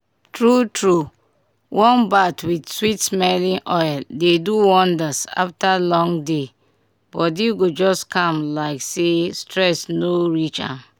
true true warm bath with sweet-smelling oil dey do wonders after long day—body go just calm like say stress no reach am.